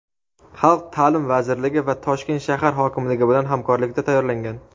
xalq ta’lim vazirligi va Toshkent shahar hokimligi bilan hamkorlikda tayyorlangan.